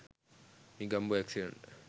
negombo accident